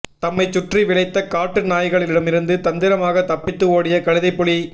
தம்மை சுற்றி விளைத்த காட்டு நாய்களிடமிருந்து தந்திரமாக தப்பித்து ஓடிய கழுதைப்புலி